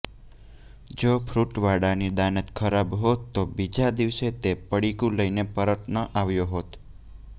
જોે ફ્રૂટવાળાની દાનત ખરાબ હોત તો બીજા દિવસે તે પડીકું લઇને પરત આવ્યો ન હોત